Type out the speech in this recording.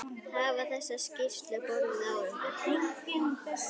Hafa þessar skýrslur borið árangur?